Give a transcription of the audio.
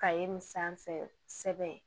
Ka ye nin sanfɛ